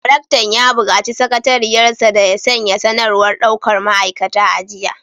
Daraktan ya bukaci sakatariyar sa da ya sanya sanarwar daukar ma’aikata a jiya